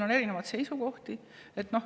On erinevaid seisukohti.